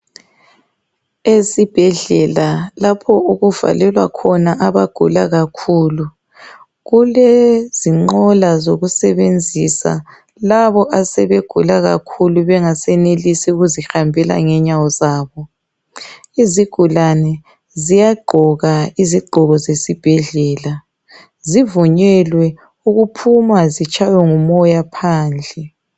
Esibhedlela, lapho okuvalelwa khona abagula kakhulu. Kulezinqola zokusebenzisa, labo asebegula kakhulu, bengasenelisi ukuzihambela ngenyawo zabo. Izigulane ziyagqoka izigqoko zesibhedlela. Zivunyelwe ukuphuma zitshaywe ngumoya phandle,